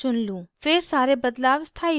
फिर सारे बदलाव स्थायी हो जाते हैं